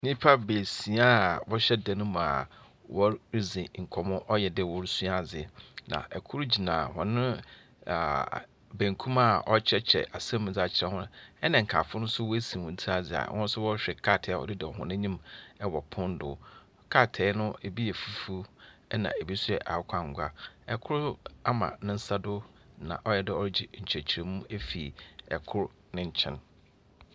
Nnipa baasia a wɔhyɛ dan no mu a wɔredzi nkɔmmɔ. Ayɛ dɛ wɔresua adze. Na kor gyina hɔn benkum a ɔrekyerɛkyerɛ asɛm mu dzaa akyerɛ hɔn. Ɛna nkaafo no nso wɔasi hɔn tsir adze a wɔrehwɛ nkrataa a ɔda hɔn anyim wɔ pon do. Krataa no bi yɛ fufuw na bi yɛ akokɔ annwa. Ikor ama ne nsa do na ayɛ dɛ ɔregye nkyerɛkyerɛmu mu ikor ne nkyɛn.